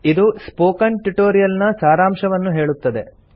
ಇದು spoken tutorial ನ ಸಾರಾಂಶವನ್ನು ಹೇಳುತ್ತದೆ